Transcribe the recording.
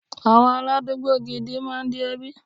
Àwọn aládùúgbò gidi máa ń di ẹbí.